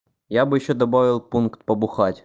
я бы ещё добавил пункт побухать